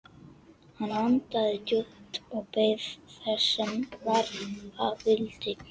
Hann andaði djúpt og beið þess sem verða vildi.